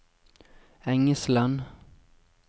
Engesland